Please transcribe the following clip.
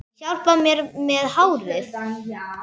Hjálpar mér með hárið!